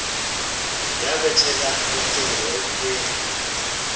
yabethela ucingo ebukhweni